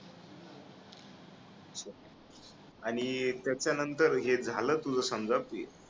आणि त्याच्या नंतर हे झालं समजा